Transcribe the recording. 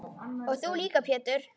Og þú líka Pétur.